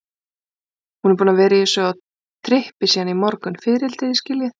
Hún er búin að vera á þessu trippi síðan í morgun, fiðrildi, þið skiljið.